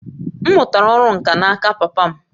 M mụtara ọrụ nkà n'aka papa m